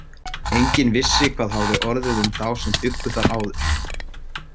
Enginn vissi hvað hafði orðið um þá sem bjuggu þar áður.